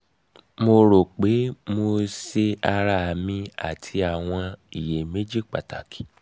mo um ro pe mo se ara mi ati ni awọn iyemeji pataki